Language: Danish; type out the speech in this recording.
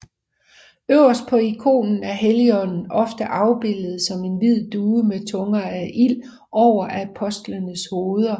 Øverst på ikonen er Helligånden ofte afbildet som en hvid due med tunger af ild over apostlenes hoveder